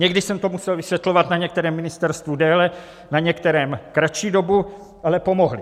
Někdy jsem to musel vysvětlovat na některém ministerstvu déle, na některém kratší dobu, ale pomohli.